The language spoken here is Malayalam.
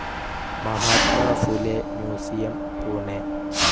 മഹാത്മാ ഫുലെ മ്യൂസിയം, പുണെ